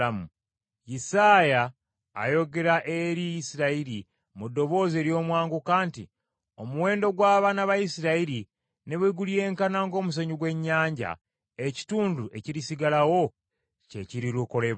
Isaaya ayogera eri Isirayiri mu ddoboozi ery’omwanguka nti, “Omuwendo gw’abaana ba Isirayiri ne bwe gulyenkana ng’omusenyu gw’ennyanja, ekitundu ekirisigalawo kye kirirokolebwa.